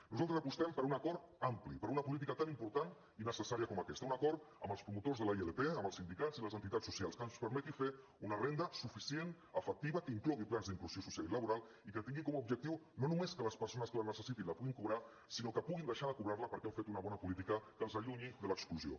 nosaltres apostem per un acord ampli per una política tan important i necessària com aquesta un acord amb els promotors de la ilp amb els sindicats i les entitats socials que ens permeti fer una renda suficient efectiva que inclogui plans d’inclusió social i laboral i que tingui com a objectiu no només que les persones que la necessitin la puguin cobrar sinó que puguin deixar de cobrar la perquè han fet una bona política que els allunyi de l’exclusió